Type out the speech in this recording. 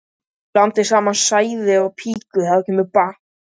Blandið sósunum saman í skál ásamt hvítlauknum og engifernum.